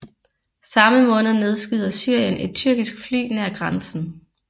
Samme måned nedskyder Syrien et tyrkisk fly nær grænsen